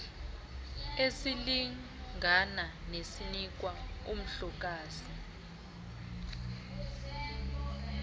esilingana nesinikwa umhlokazi